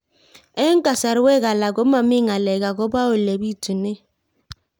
Eng' kasarwek alak ko mami ng'alek akopo ole pitunee